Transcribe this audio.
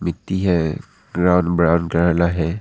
मिट्टी है ग्राउन ब्राउन है।